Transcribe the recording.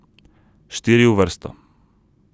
Štiri v vrsto.